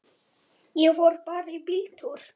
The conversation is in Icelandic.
Ég fór bara í bíltúr.